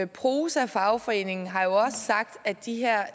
prosa fagforeningen har jo også sagt at de her